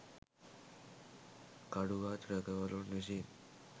කඩුගත් රැකවලුන් විසින්